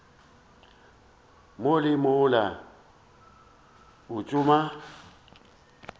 mo le mola o tšama